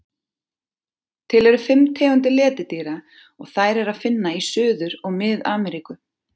Til eru fimm tegundir letidýra og þær er að finna í Suður- og Mið-Ameríku.